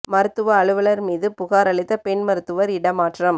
மருத்துவ அலுவலா் மீது புகாா் அளித்த பெண் மருத்துவா் இடமாற்றம்